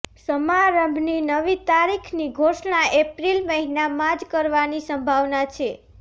સમારંભની નવી તારીખની ઘોષણા એપ્રિલ મહિનામાં જ કરવાની સંભાવના છે